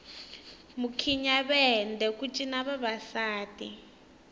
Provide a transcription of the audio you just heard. mukhinyavende ku cina vavasati